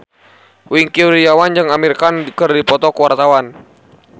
Wingky Wiryawan jeung Amir Khan keur dipoto ku wartawan